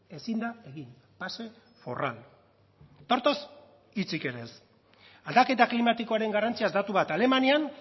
ezin da egin pase forral eta hortaz hitzik ere ez aldaketa klimatikoaren garrantziaz datu bat alemanian